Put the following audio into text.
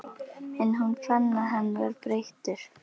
En hún fann að hann var breyttur.